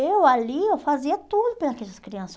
Eu ali, eu fazia tudo pela aquelas crianças.